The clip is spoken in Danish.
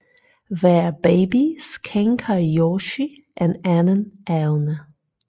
Hver baby skænker Yoshi en anden evne